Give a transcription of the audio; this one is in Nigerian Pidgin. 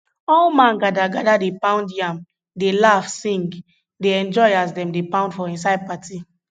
all man gather gather dey pound yam dey laugh sing dey enjoy as dem dey pound for inside party